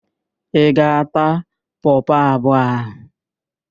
Ị ga-ata pọpọ abụọ ahụ?